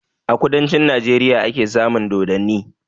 A kudancin Najeriya ake samun dodanni